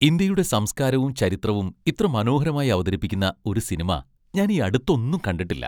ഇന്ത്യയുടെ സംസ്കാരവും ചരിത്രവും ഇത്ര മനോഹരമായി അവതരിപ്പിക്കുന്ന ഒരു സിനിമ ഞാൻ ഈയടുത്തൊന്നും കണ്ടിട്ടില്ല.